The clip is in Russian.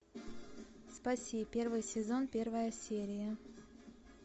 спаси первый сезон первая серия